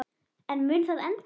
En mun það endast?